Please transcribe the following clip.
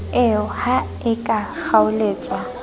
eo ha e ka kgaoletswa